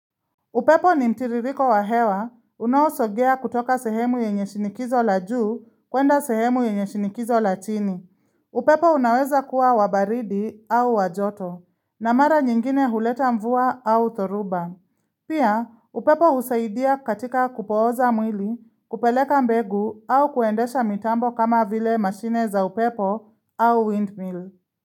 Upepo ni mtiririko wa hewa, unausogea kutoka sehemu yenye shinikizo la juu kwenda sehemu yenye shinikizo la chini. Upepo unaweza kuwa wa baridi au wa joto, na mara nyingine huleta mvua au thoruba. Pia, upepo usaidia katika kupooza mwili, kupeleka mbegu au kuendesha mitambo kama vile mashine za upepo au windmill.